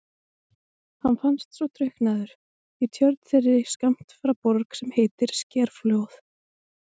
Hann fannst svo drukknaður í tjörn þeirri skammt frá Borg sem heitir Skerflóð.